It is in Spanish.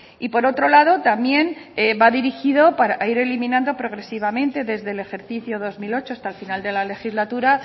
y por otro lado también va dirigido para ir eliminando progresivamente desde el ejercicio dos mil ocho hasta el final de la legislatura